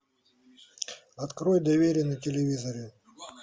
открой доверие на телевизоре